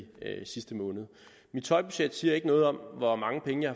sidste måned mit tøjbudget siger ikke noget om hvor mange penge jeg